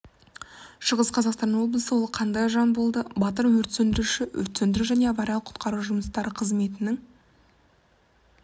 шығыс қазақстан облысы ол қандай жан болды батыр-өрт сөндіруші өрт сөндіру және авариялық құтқару жұмыстары қызметінің